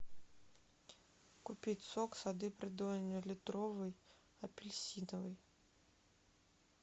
купить сок сады придонья литровый апельсиновый